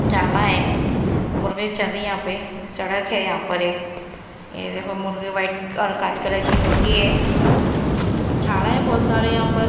झाड़ा है मुर्गी चल रही है यहां पे सड़क है यहां पर एक ये देखो मुर्गी वाइट और काली कलर की मुर्गी है झाड़ा है बहुत सारे यहां पर --